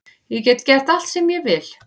Ég get gert allt sem ég vil